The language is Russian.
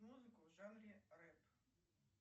музыку в жанре рэп